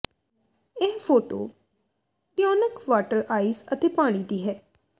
ਇਹ photo tonic water ice ਅਤੇ ਪਾਣੀ ਦੀ ਹੈ